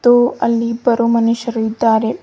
ಹಾಗು ಅಲ್ಲಿ ಇಬ್ಬರು ಮನುಷ್ಯರು ಇದ್ದಾರೆ.